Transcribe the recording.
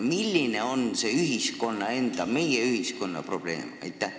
Milline on see ühiskonna enda, meie ühiskonna probleem?